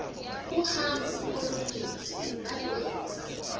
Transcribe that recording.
uhambo oluninzi balwenza